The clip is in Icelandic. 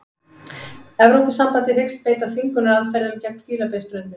Evrópusambandið hyggst beita þvingunaraðferðum gegn Fílabeinsströndinni